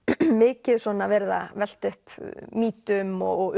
mikið verið að velta upp mýtum og